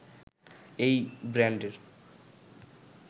এই ব্র্যান্ডের